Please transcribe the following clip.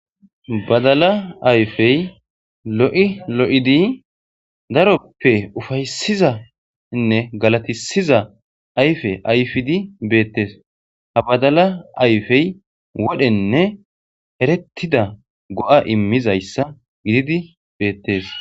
Badala ayfey lo'i lo'idi daroppe ufaysizanne galatisiza ayfe ayfidi beettes ha badala ayfey wodhenne erettida go'a immizayssa gididi beettes